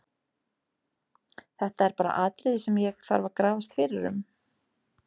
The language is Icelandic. Þetta er bara atriði sem ég þarf að grafast fyrir um.